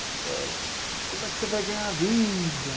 É... Como é que você vai ganhar vida?